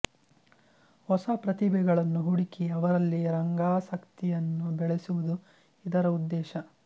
ಹೊಸ ಪ್ರತಿಭೆಗಳನ್ನು ಹುಡುಕಿ ಅವರಲ್ಲಿ ರಂಗಾಸಕ್ತಿಯನ್ನು ಬೆಳೆಸುವುದು ಇದರ ಉದ್ದೇಶ